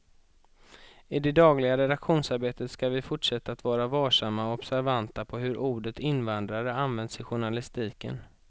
I det dagliga redaktionsarbetet ska vi fortsätta att vara varsamma och observanta på hur ordet invandrare används i journalistiken.